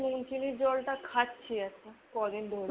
নুন চিনির জলটা খাচ্ছি এখন ক'দিন ধরে।